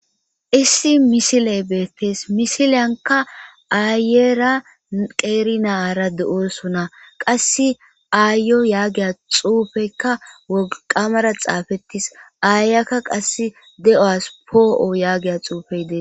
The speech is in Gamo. Issi missiley bettes missilyanka ayera qeri na'ara doosona qasi ayiyo yaggiya xuffeyka wolqqamara xaffetis ayiyaka qase deuwas po'o yagiya xuffeyi deesi.